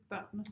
Børnene